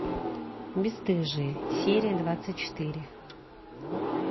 бесстыжие серия двадцать четыре